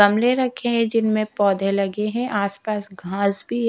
गमले रखे हैं जिनमें पौधे लगे हैं आस पास घास भी --